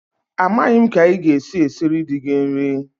Amaghị m ka ị ga-esi esiri di gị nri!